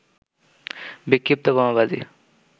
বিক্ষিপ্ত বোমাবাজি